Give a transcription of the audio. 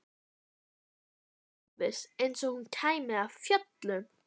sagði hún óviss, eins og hún kæmi af fjöllum.